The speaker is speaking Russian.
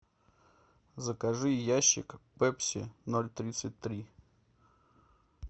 закажи ящик пепси ноль тридцать три